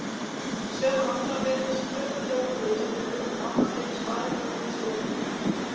Í sömu andrá heyrðist klukknahljómur í útvarpinu og mamma gekk sparibúin í stofuna.